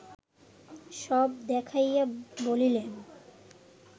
সব দেখাইয়া বলিলেন